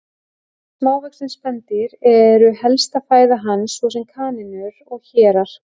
Smávaxin spendýr eru helsta fæða hans, svo sem kanínur og hérar.